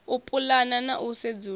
u pulana na u sedzulusa